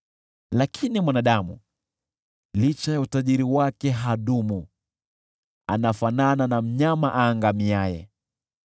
Lakini mwanadamu, licha ya utajiri wake, hadumu; anafanana na mnyama aangamiaye.